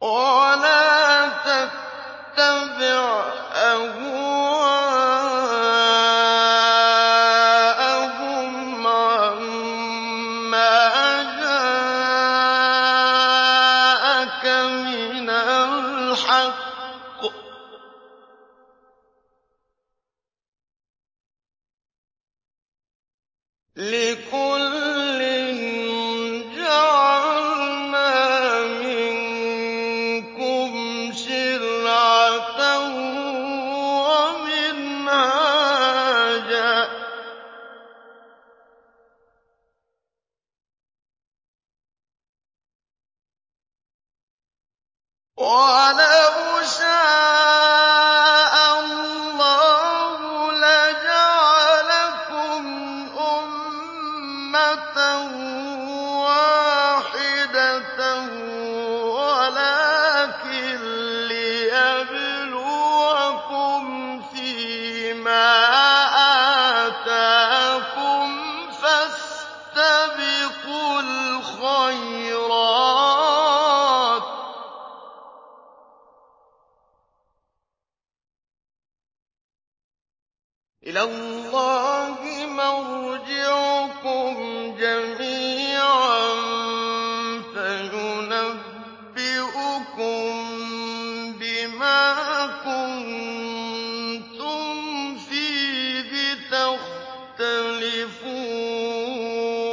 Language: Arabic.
وَلَا تَتَّبِعْ أَهْوَاءَهُمْ عَمَّا جَاءَكَ مِنَ الْحَقِّ ۚ لِكُلٍّ جَعَلْنَا مِنكُمْ شِرْعَةً وَمِنْهَاجًا ۚ وَلَوْ شَاءَ اللَّهُ لَجَعَلَكُمْ أُمَّةً وَاحِدَةً وَلَٰكِن لِّيَبْلُوَكُمْ فِي مَا آتَاكُمْ ۖ فَاسْتَبِقُوا الْخَيْرَاتِ ۚ إِلَى اللَّهِ مَرْجِعُكُمْ جَمِيعًا فَيُنَبِّئُكُم بِمَا كُنتُمْ فِيهِ تَخْتَلِفُونَ